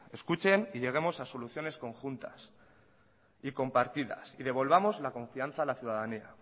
escuchen y lleguemos a soluciones conjuntas y compartidas y devolvamos la confianza a la ciudadanía